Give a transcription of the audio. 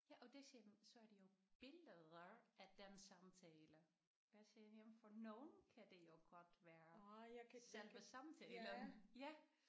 Ja og det siger han så er det jo billeder af den samtale der siger jeg jamen for nogle kan det jo godt være selve samtalen ja